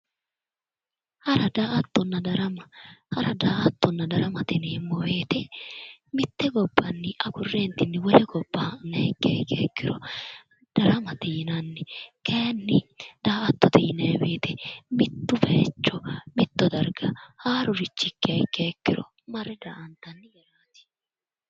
Hara, daa'attonna darama, Hara, daa'attonna darama yineemmo woyiite mitte gobbanni agurre wole gobba ha'niha ikkiha ikkiro daramate yinanni. kaayiinni daa'attote yinayi woyite mitto baayiicho mitto darga haarurichi ikkiha ikkiya ikkiro marre daa'antanniwaati.